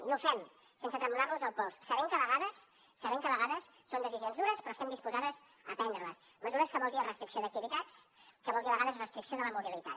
i ho fem sense tremolar nos el pols sabent que a vegades són decisions dures però estem disposats a prendre les mesures que vol dir restricció d’activitats que vol dir a vegades restricció de la mobilitat